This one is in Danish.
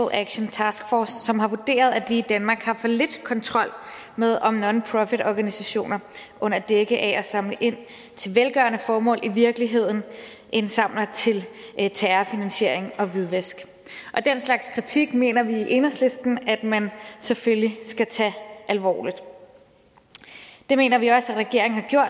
action task force som har vurderet at vi i danmark har for lidt kontrol med om nonprofitorganisationer under dække af at samle ind til velgørende formål i virkeligheden indsamler til terrorfinansiering og hvidvask den slag kritik mener vi i enhedslisten at man selvfølgelig skal tage alvorligt det mener vi også at regeringen